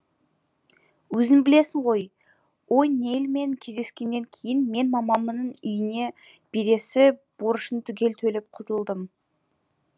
өзің білесің ғой о нейльмен кездескеннен кейін мен мамамның үйіне бересі борышын түгел төлеп құтылдым